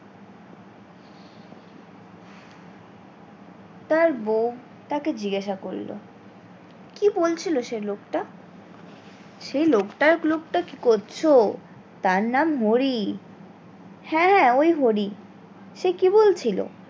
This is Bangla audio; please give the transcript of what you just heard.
তার বৌ তাকে জিজ্ঞাসা করলো কি বলছিলো সে লোকটা সেই লোকটা লোকটা কি করছো তার নাম হরি হ্যাঁ ওই হরি সে কি বলছিলো?